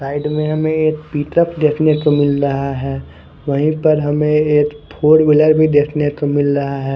Side में हमे एक पिकप देखने को मिल रहा है व्ही पर हमे एक फोरविलर भी देखने को मिल रहा है।